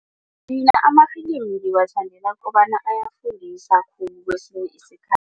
Mina amafilimi ngiwathandela kobana ayafundisa kwesinye isikhathi.